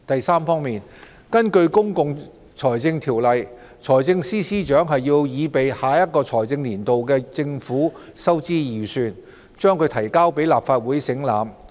三根據《公共財政條例》，財政司司長須擬備下一財政年度的政府收支預算，將之提交立法會省覽。